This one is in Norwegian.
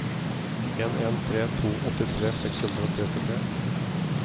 en en tre to åttitre seks hundre og trettitre